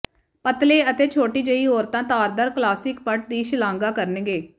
ਪਤਲੇ ਅਤੇ ਛੋਟੀ ਜਿਹੀ ਔਰਤਾਂ ਤਾਰਦਾਰ ਕਲਾਸਿਕ ਪਟ ਦੀ ਸ਼ਲਾਘਾ ਕਰਨਗੇ